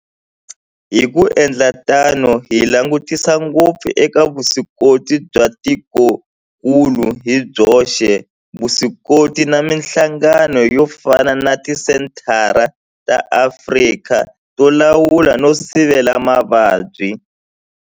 Hi ku endla tano hi langutisa ngopfu eka vuswikoti bya tikokulu hi byoxe, vuswikoti na mihlangano yo fana na Tisenthara ta Afrika to Lawula no Sivela Mavabyi.